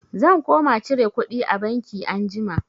Zan koma cire kuɗi a banki anjima.